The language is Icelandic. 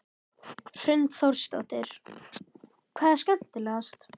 Hrund Þórsdóttir: Hvað er skemmtilegast?